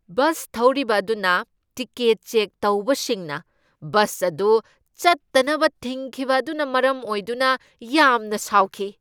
Bus ꯊꯧꯔꯤꯕ ꯑꯗꯨꯅ ticket check ꯇꯧꯕꯁꯤꯡꯅ ꯕꯁ ꯑꯗꯨ ꯆꯠꯇꯅꯕ ꯊꯤꯡꯈꯤꯕ ꯑꯗꯨꯅ ꯃꯔꯝ ꯑꯣꯏꯗꯨꯅ ꯌꯥꯝꯅ ꯁꯥꯎꯈꯤ꯫